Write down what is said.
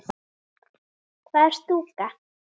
Hvað er stúka?